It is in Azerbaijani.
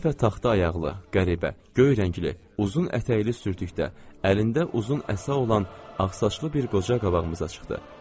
Bu dəfə taxta ayaqlı, qəribə, göy rəngli, uzun ətəkli sürtükdə, əlində uzun əsa olan ağsaçlı bir qoca qabağımıza çıxdı.